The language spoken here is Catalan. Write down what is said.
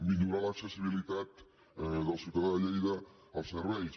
millorar l’accessibilitat del ciutadà de lleida als serveis